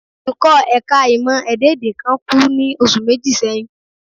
Olùkọ́ ẹ̀ka ìmọ̀ ẹ̀dá-èdè kan kú ní oṣù méjì sẹ́yìn